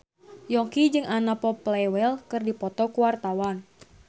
Yongki jeung Anna Popplewell keur dipoto ku wartawan